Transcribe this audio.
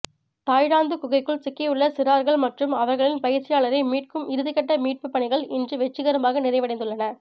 Thailand குகைக்குள் சிக்கியுள்ள சிறார்கள் மற்றும் அவர்களின் பயிற்சியாளரை மீட்கும் இறுதிக்கட்ட மீட்புப்பணிகள் இன்றுவெற்றிகரமாக நிறைவடைந்துள்ளன